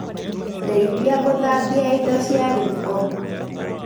Ndeithĩa gũthambia indo cia riiko